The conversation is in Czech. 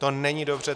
To není dobře.